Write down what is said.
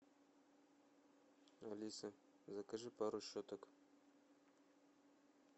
алиса закажи пару щеток